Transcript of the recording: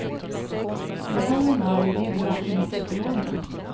Ibland är hon arg och det är bra, enligt psykologerna.